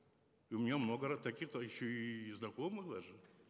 и у меня много таких то еще и знакомых даже